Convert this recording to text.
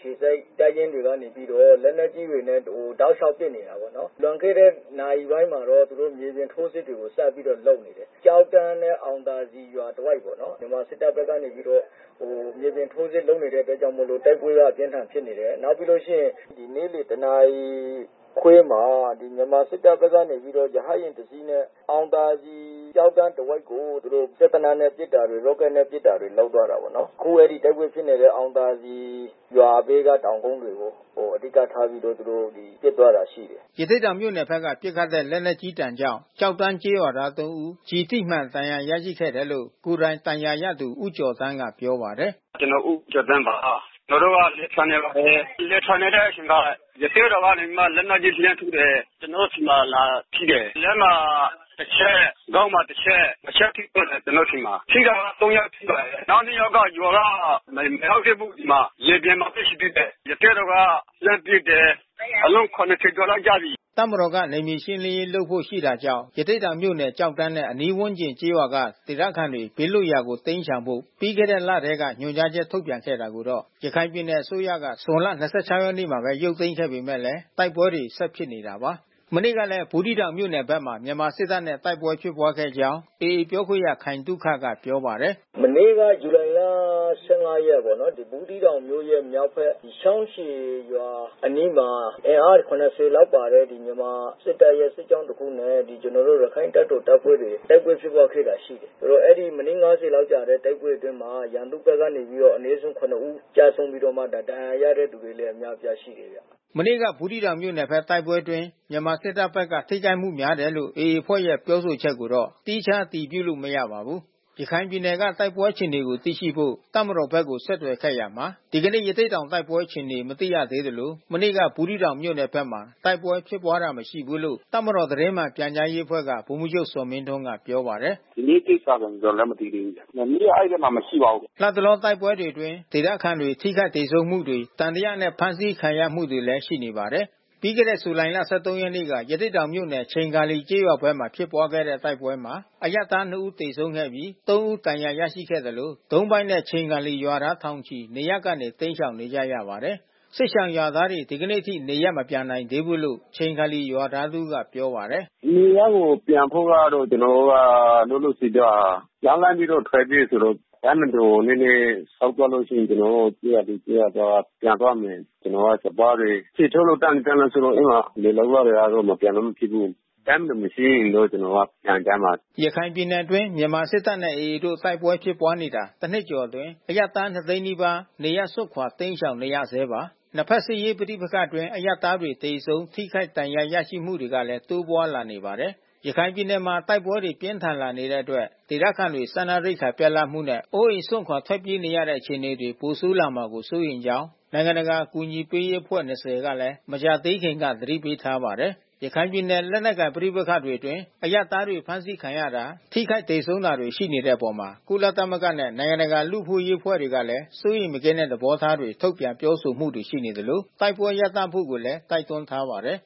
ခြေစိုက်တပ်ရင်းတွေကနေပြီးတော့ လက်နက်ကြီးတွေနဲ့ တောက်လျှောက်ပစ်နေတာပေါ့နော်။ လွန်ခဲ့တဲ့နာရီပိုင်းမှာပဲ သူတို့ မြေပြင်ထိုးစစ်တွေစပြီးတော့ လုပ်နေတယ်။ ကျောက်တန်းနဲ့ အောင်သာစည်ရွာ တဝိုက်ပေါ့နော်။ မြန်မာစစ်တပ်ဘက်က မြေပြင် ထိုးစစ်လုပ်နေတဲ့အတွက် ကြောင့်မို့လို့ တိုက်ပွဲအပြင်းထန်ဖြစ်နေတယ်။ နောက်ပြီးလို့ရှိရင် နေ့လယ်တနာရီခွဲမှာ မြန်မာစစ်တပ်ဘက်ကနေ ရဟတ်ယာဉ်တစီးနဲ့ အောင်သာစည်ကျောက်တန်း တဝိုက်ကို သူတို့ စက်သေနတ်နဲ့ ပစ်တာတွေ ရော့ကက်နဲ့ ပစ်တာတွေ လုပ်သွားတာပေါ့နော်။ ခုတိုက်ပွဲဖြစ်နေတဲ့ အောင်သာစည်ရွာထဲက တောင်ကုန်းတွေကို အဓိကထားပြီး သူတို့ ပစ်သွားတာရှိတယ်။” ရသေ့တောင်မြို့ဘက်က ပစ်ခတ်တဲ့ လက်နက်ကြီးဒဏ်ကြောင့် ကျောက်တန်းကျေးရွာသား ၃ ဦး ကျည်ထိမှန်ဒဏ်ရာ ရခဲ့တယ်လို့ ကိုယ်တိုင်ဒဏ်ရာရသူ ဦးကျော်သန်းကပြောပါတယ်။ “ကျနော် ဦးကျော်သန်းပါ။ ကျနော်တို့ကလယ်ထွန်နေပါတယ်။ လယ်ထွန်နေတဲ့အချိန်မှာ ရသေ့တောင်ကနေပြီးမှ လက်နက်ကြီးနဲ့ လှမ်းထုတယ်။ ကျနော်တို့ဆီမှာ လာထိတယ်။ လက်မှာ တချက် ခေါင်းမှာ တချက်။ နှစ် ချက်ထိသွားတယ် ကျနော်တို့ဆီမှာ။ ထိတာကသုံးယောက်ထိပါတယ်။ နောက် နှစ်ယောက်က ရွာက မရောက်သေးဘူး ဒီမှာ။ လယ်ပြင်မှာပဲ ရှိသေးတယ်။ ရသေ့တောင်က လှမ်းပစ်တယ်။ အလုံး ၇၀ ကျော်လောက်ကျပြီ။” တပ်မတော်က နယ်မြေရှင်းလင်းရေးလုပ်ဖို့ ရှိတာကြောင့် ရသေ့တောင်မြို့နယ် ကျောက်တန်းနဲ့အနီးဝန်းကျင် ကျေးရွာတွေက ဒေသခံတွေ ဘေးလွတ်ရာ တိမ်းရှောင်ဖို့ ပြီးခဲ့တဲ့လထဲ ညွှန်ကြားချက် ထုတ်ပြန်ခဲ့တာကိုတော့ ရခိုင်ပြည်နယ် အစိုးရက ဇွန်လ ၂၆ ရက်နေ့မှာပဲ ရုပ်သိမ်းခဲ့ပေမဲ့လည်း တိုက်ပွဲတွေ ဆက်ဖြစ်နေတာပါ။ မနေ့ကလည်း ဘူးသီးတောင်မြို့နယ်ဘက်မှာ မြန်မာစစ်တပ်နဲ့ တိုက်ပွဲဖြစ်ပွါးခဲ့ကြောင်း AA ပြောခွင့်ရ ခိုင်သုခက ပြောပါ တယ်။ “မနေ့ကဇူလိုင်လ ၁၅ ရက်ပေါ့နော်။ ဘူးသီးတောင်မြို့ရဲ့ မြောက်ဘက် ချောင်းရှည်ရွာအနီးမှာ အင်အား ၇၀ လောက်ပါတဲ့ မြန်မာစစ်တပ်ရဲ့ စစ်ကြောင်း တခုနဲ့ ကျနော်တို့ ရခိုင်တပ်တော်တပ်ဖွဲ့နဲ့ တိုက်ပွဲဖြစ်ပွားခဲ့တာ ရှိတယ်။ အဲဒီမိနစ် ၅၀ ကြာတဲ့တိုက်ပွဲအတွင်းမှာ ရန်သူ့ဘက်က အနည်းဆုံး ၇ ဦး ကျဆုံးပြီးတော့ ဒဏ်ရာရရှိသူလည်း အများပြားရှိတယ်ဗျ။” မနေ့က ဘူးသီးတောင်မြို့နယ်ဘက် တိုက်ပွဲအတွင်း မြန်မာစစ်တပ်ဘက်က ထိခိုက်မှုများတယ်လို့ AA အဖွဲ့ရဲ့ ပြောဆို ချက်ကိုတော့ သီးခြားအတည်ပြုလို့ မရပါဘူး။ ရခိုင်ပြည်နယ်က တိုက်ပွဲအခြေအနေကိုသိရှိဖို့ တပ်မတော်ဘက်ကို ဆက်သွယ်ခဲ့ရာမှာ ဒီကနေ့ ရသေ့တောင်တိုက်ပွဲ အခြေအနေ မသိရသေးသလို မနေ့က ဘူးသီးတောင်မြို့နယ်ဘက်မှာ တိုက်ပွဲဖြစ်ပွားတာ မရှိဘူးလို့ တပ်မတော် သတင်းမှန်ပြန်ကြားရေးအဖွဲ့က ဗိုလ်မှူးချုပ် ဇော်မင်းထွန်းက ပြောပါတယ်။ “ဒီနေ့ကိစ္စတော့ ကျနော်လည်း မသိသေးဘူးဗျာ။ မနေ့က အဲဒီဘက်မှာ မရှိပါဘူး။” လတ်တလော တိုက်ပွဲတွေအတွင်း ဒေသခံတွေ ထိခိုက်သေဆုံးမှုတွေ၊ သံသယနဲ့ ဖမ်းဆီးခံရမှုတွေလည်း ရှိနေပါတယ်။ ပြီးခဲ့တဲ့ ဇူလိုင်လ ၁၃ ရက်နေ့က ရသေ့တောင်မြို့နယ်ချိန်ခါလီကျေးရွာဘက်ဖြစ်ပွါးတဲ့တိုက်ပွဲမှာ အရပ်သား နှစ် ဦး သေဆုံးခဲ့ပြီး သုံး ဦး ဒဏ်ရာရရှိခဲ့သလို ဒုံးပိုက်နဲ့ ချိန်ခါလီရွာသားထောင်ချီ နေရပ်ကနေ တိမ်းရှောင်နေရပါတယ်။ စစ်ရှောင်ရွာသားတွေ ဒီနေ့အထိ နေရပ်မပြန်နိုင်သေးဘူးလို့ ချိန်ခါလီရွာသား တဦးကပြောပါတယ်။ “နေရပ်ကိုပြန်ဖို့ကတော့ ကျနော်တို့က လောလောဆယ်က ကြောက်လန့်ပြီး ထွက်ပြေးတာဆိုတော့ တပ်မတော်နည်းနည်းဆုတ်သွားလို့ရှိရင် ကျနော်တို့ ကျေးရွာသူ၊ ကျေးရွာသားတွေပြန်သွားမယ်။ ကျနော်တို့ စပါးတွေထယ်ထိုးလို့ တန်းလန်းတန်းလန်းဆိုတော့ အဲဒီမှာလယ်လုပ်ရတယ်ဆိုတော့ မပြန်လို့ မဖြစ်ဘူး။ တပ်မတော်မရှိရင်တော့ ကျနော်တို့ ပြန်ကြမှာ။” ရခိုင်ပြည်နယ်အတွင်း မြန်မာစစ်တပ်နဲ့ AA တို့တိုက်ပွဲဖြစ်ပွားနေတာ တနှစ်ကျော်အတွင်း အရပ်သား ၂၀၀,၀၀၀ နီးပါး နေရပ်စွန့်ခွာ တိမ်းရှောင်နေရဆဲပါ။ နှစ်ဘက်စစ်ရေးပဋိပက္ခအတွင်း အရပ်သားတွေ သေဆုံးထိခိုက် ဒဏ်ရာရရှိမှုတွေကလည်း တိုးပွားလာနေပါတယ်။ ရခိုင်ပြည်နယ်မှာ တိုက်ပွဲတွေ ပြင်းထန်လာနေတဲ့အတွက် ဒေသခံတွေ စားနပ်ရိက္ခာပြတ်လပ်မှုတွေနဲ့ အိုးအိမ်စွန့်ခွာ ထွက်ပြေးရတဲ့ အခြေအနေတွေ ပိုဆိုးလာမှာ စိုးရိမ်ကြောင်းလည်း နိုင်ငံတကာ အကူအညီပေးရေးအဖွဲ့ ၂၀ က မကြာသေးခင်ကပဲ သတိပေးထားတာပါ။ ရခိုင်ပြည်နယ်က လက်နက်ကိုင် ပဋိပက္ခတွေအတွင်း အရပ်သားတွေ ဖမ်းဆီးခံရတာ၊ ထိခိုက်သေဆုံးတာတွေ ရှိနေတဲ့အပေါ် ကုလသမဂ္ဂနဲ့ နိုင်ငံတကာ လူ့အခွင့်အရေး အဖွဲ့တွေကလည်း စိုးရိမ်မကင်းတဲ့ သဘောထားတွေ ထုတ်ပြန်ပြောဆိုမှုတွေ ရှိနေသလို တိုက်ပွဲရပ်တန့်ဖို့ကိုလည်း တိုက်တွန်းထားပါတယ်